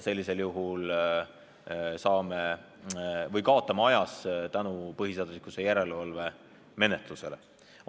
Sellisel juhul me kaotame põhiseaduslikkuse järelevalve menetluse tõttu aega.